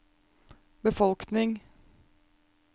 befolkning